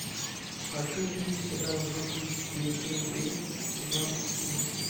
хочу увидеть сериал бруклин девять тире девять сезон семь